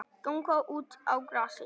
Ganga út á grasið.